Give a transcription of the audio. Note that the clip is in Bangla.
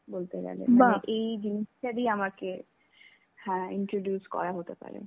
বলতেগেলে মানে এই জিনিসটা দিয়ে আমাকে হ্যাঁ introduce করা হতে পারে.